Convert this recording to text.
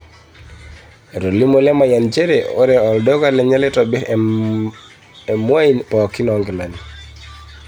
Etolimuo Lemayian nchere ore oldoka lenye neitobir emwain pookin oo nkilani